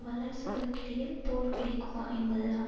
வல்லரசுகளுக்கிடையில் போர் வெடிக்குமா என்பதுதான்